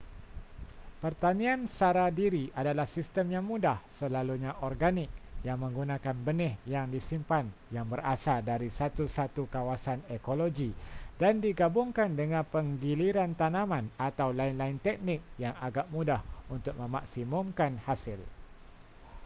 pertanian sara diri adalah sistem yang mudah selalunya organik yang menggunakan benih yang disimpan yang berasal dari satu-satu kawasan ekologi dan digabungkan dengan penggiliran tanaman atau lain-lain teknik yang agak mudah untuk memaksimumkan hasil